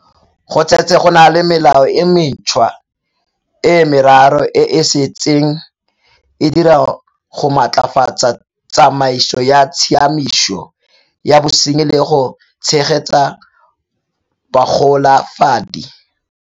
Go setse go na le melao e mentšhwa e meraro e e se tseng e dira go maatlafatsa tsamaiso ya tshiamiso ya bosenyi le go tshegetsa bagolafadi.